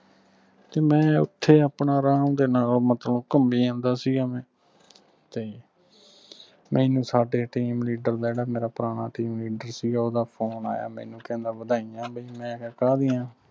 ਤੇ ਮੈਂ ਓਥੇ ਆਪਣਾ ਅਰਾਮ ਦੇ ਨਾਲ ਮਤਲਬ ਘੁੰਮੀ ਜਾਂਦਾ ਸੀ ਤੇ ਮੈਨੂੰ ਸਾਡੇ team leader ਦਾ ਜਿਹੜਾ ਪੁਰਾਣਾ team leader ਸੀਗਾ ਓਹਦਾ phone ਆਇਆ ਮੈਨੂੰ ਕਹਿੰਦਾ ਵਧਾਈਆਂ ਬਈ ਮੈਂ ਕਿਹਾ ਕਾਹਦੀਆਂ